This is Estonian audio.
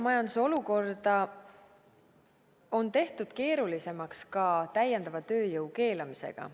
Majanduse olukorda laiemalt on tehtud keerulisemaks ka täiendava tööjõu keelamisega.